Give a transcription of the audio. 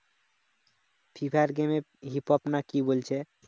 free fire game এ hip-hop না কি বলছে